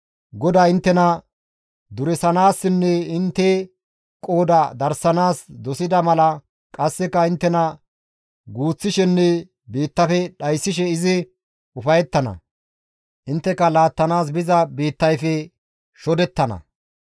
GODAY inttena duresanaassinne intte qooda darsanaas dosida mala qasseka inttena guuththishenne biittafe dhayssishe izi ufayettana; intteka laattanaas biza biittayfe shodettana.